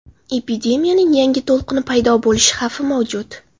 Epidemiyaning yangi to‘lqini paydo bo‘lishi xavfi mavjud.